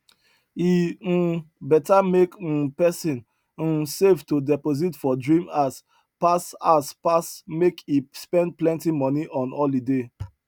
e um beta make um person um save to deposit for dream house pass house pass make e spend plenti money on holiday